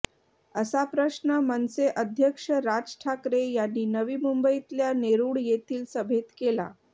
असा प्रश्न मनसे अध्यक्ष राज ठाकरे यांनी नवी मुंबईतल्या नेरुळ येथील सभेत केला